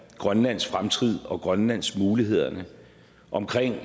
grønlands fremtid og grønlands muligheder og om